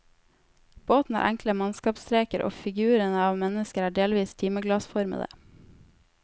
Båten har enkle mannskapsstreker og figurene av mennesker er delvis timeglassformede.